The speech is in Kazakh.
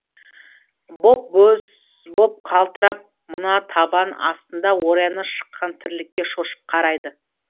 боп боз боп қалтырап мына табан астында орайны шыққан тірлікке шошып қарайды